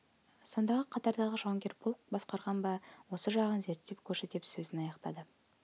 сонда қатардағы жауынгер полк басқарған ба осы жағын зерттеп көрші деп сөзін аяқтады